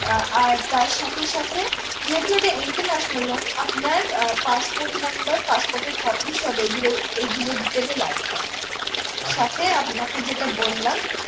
আহ আর তার সাথে সাথে যেহেতু এটা international loan আপনার আহ passport number passport এর copy সব এই গুলো এই গুলোর details এ লাগবে আমাদের সাথে আপনাকে যেটা বললাম